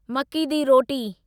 मक्की दी रोटी